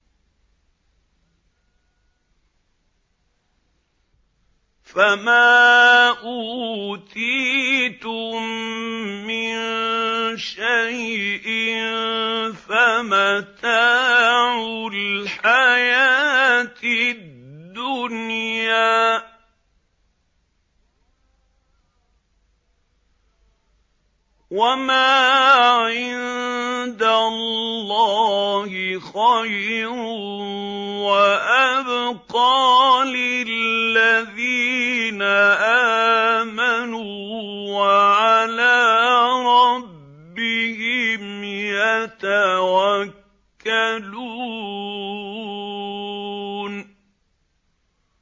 فَمَا أُوتِيتُم مِّن شَيْءٍ فَمَتَاعُ الْحَيَاةِ الدُّنْيَا ۖ وَمَا عِندَ اللَّهِ خَيْرٌ وَأَبْقَىٰ لِلَّذِينَ آمَنُوا وَعَلَىٰ رَبِّهِمْ يَتَوَكَّلُونَ